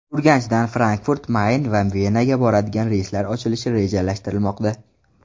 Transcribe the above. Urganchdan Frankfurt-Mayn va Venaga boradigan reyslar ochilishi rejalashtirilmoqda.